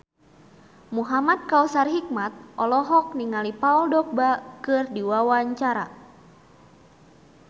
Muhamad Kautsar Hikmat olohok ningali Paul Dogba keur diwawancara